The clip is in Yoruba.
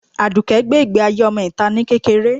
Adùké gbé ìgbé ayé ọmọ itá ni kékeré.